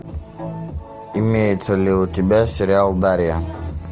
имеется ли у тебя сериал дарья